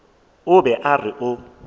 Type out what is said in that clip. o be a re o